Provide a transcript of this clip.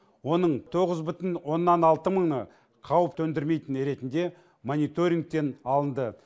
оның тоғыз бүтін оннан алты мыңы қауіп төндірмейтін ретінде мониторингтен алынды